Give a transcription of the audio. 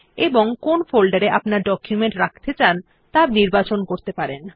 এবং কোন ফোল্ডারে আপনার ডকুমেন্ট রাখতে চান ত়া বেছে নিতে পারেন